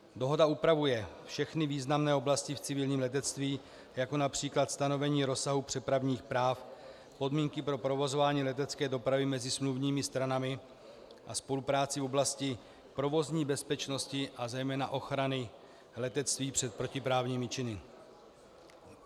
Dohoda upravuje všechny významné oblasti v civilním letectví, jako například stanovení rozsahu přepravních práv, podmínky pro provozování letecké dopravy mezi smluvními stranami a spolupráci v oblasti provozní bezpečnosti a zejména ochrany letectví před protiprávními činy.